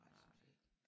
Nej det synes jeg ikke